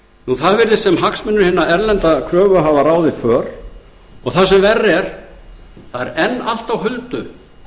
það virðist sem hagsmunir hinna erlendu kröfuhafa ráði för og það sem verra er það er enn allt á huldu